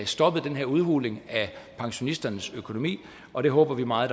stoppet den her udhuling af pensionisternes økonomi og det håber vi meget